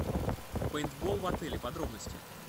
пейнтбол в отеле подробности